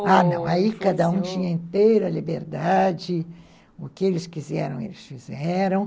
Ah, não, aí cada um tinha inteira liberdade, o que eles quiseram, eles fizeram.